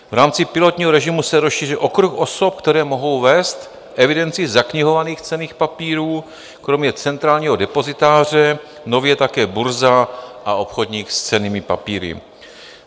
V rámci pilotního režimu se rozšíří okruh osob, které mohou vést evidenci zaknihovaných cenných papírů, kromě centrálního depozitáře nově také burza a obchodník s cennými papíry.